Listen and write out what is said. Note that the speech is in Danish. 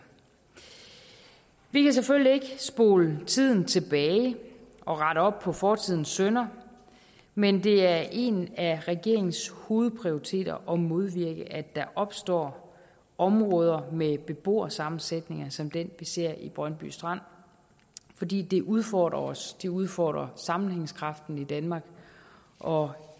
vi kan selvfølgelig ikke spole tiden tilbage og rette op på fortidens synder men det er en af regeringens hovedprioriteter at modvirke at der opstår områder med beboersammensætninger som den vi ser i brøndby strand fordi det udfordrer os det udfordrer sammenhængskraften i danmark og